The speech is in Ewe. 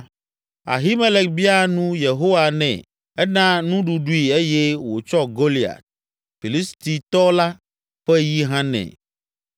Abimelek bia nu Yehowa nɛ, ena nuɖuɖui eye wòtsɔ Goliat, Filistitɔ la, ƒe yi hã nɛ.”